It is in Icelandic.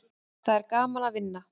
Það er gaman að vinna.